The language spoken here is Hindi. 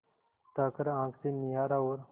उठाकर आँख से निहारा और